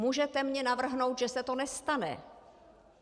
Můžete mi navrhnout, že se to nestane.